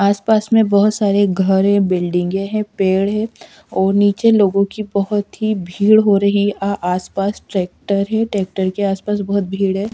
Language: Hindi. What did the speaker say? आस पास में बहोत सारे घरे बिल्डिंगे के हैं पेड़ है और नीचे लोगों की बहोत ही भीड़ हो रही है आस पास ट्रैक्टर है ट्रैक्टर के आस पास बहोत भीड़ है।